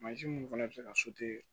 Mansin minnu fana bɛ se ka